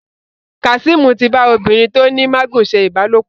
Kazeem tí bá obìrin tó ní magun ṣe ìbálòpọ̀.